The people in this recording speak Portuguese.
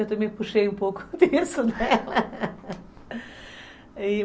Eu também puxei um pouco disso dela